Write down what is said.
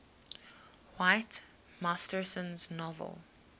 whit masterson's novel